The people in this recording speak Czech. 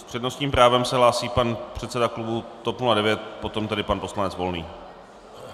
S přednostním právem se hlásí pan předseda klubu TOP 09, potom tedy pan poslanec Volný.